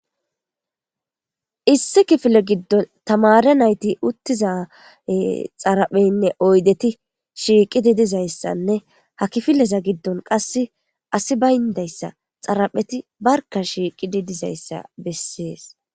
issi kifile giddon tamare nayti uttiza xarapheynne oydeti shiiqidi dizayssanne ha kifileza giddon qassi asi bayndayssa xarapheti barka shiiqidi dizayssa bessees.